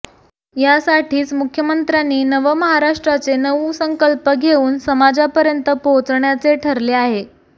यासाठीच मुख्यमंत्र्यांनी नवमहारष्ट्राचे नऊ संकल्प घेऊन समाजपर्यंत पोहोचण्याचे ठरले आहे